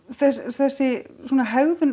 þessi hegðun